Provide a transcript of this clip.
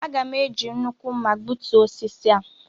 Aga m eji nnukwu mma gbutuo osisi a